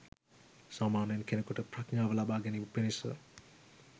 සාමාන්‍යයෙන් කෙනෙකුට ප්‍රඥාව ලබාගැනීම පිණිස